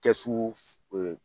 Kɛsu ee